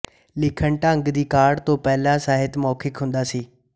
ਲਿਖਣ ਢੰਗ ਦੀ ਕਾਢ ਤੋਂ ਪਹਿਲਾਂ ਸਾਹਿਤ ਮੌਖਿਕ ਹੁੰਦਾ ਸੀ